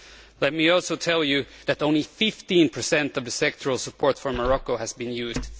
Let me also tell you that only 15 of the sectoral support from Morocco has been used.